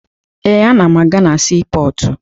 Ee, ana m aga na siipọọtụ